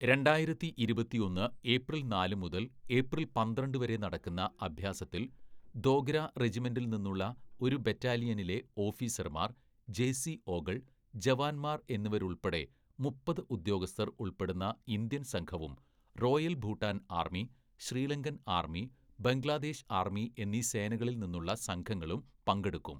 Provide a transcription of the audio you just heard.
രണ്ടായിരത്തി ഇരുപത്തിയൊന്ന് ഏപ്രില്‍ നാല് മുതല്‍ ഏപ്രില്‍ പന്ത്രണ്ട്‌ വരെ നടക്കുന്ന അഭ്യാസത്തിൽ ദോഗ്ര റെജിമെന്റിൽ നിന്നുള്ള ഒരു ബറ്റാലിയനിലെ ഓഫീസർമാർ, ജെസിഒകൾ, ജവാൻമാർ എന്നിവരുൾപ്പെടെ മുപ്പത്‌ ഉദ്യോഗസ്ഥർ ഉൾപ്പെടുന്ന ഇന്ത്യൻ സംഘവും, royal Bhutan army, Sri Lankan army, Bangladesh army എന്നീ സേനകളിൽനിന്നുള്ള സംഘങ്ങളും പങ്കെടുക്കും.